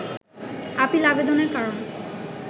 appeal আবেদনের কারণ